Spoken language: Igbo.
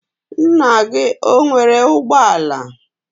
nna gi ọ nwere ugbo ala?